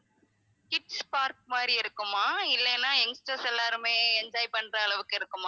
kids park மாதிரி இருக்குமா இல்லைனா youngsters எல்லாருமே enjoy பண்ற அளவுக்கு இருக்குமா?